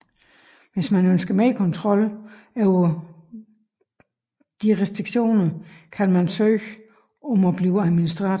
Hvis man ønsker mere kontrol over disse restriktioner kan man søge om at blive administrator